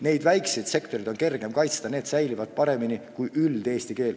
Neid väikseid sektoreid on kergem kaitsta ja need säilivad paremini kui üldine eesti keel.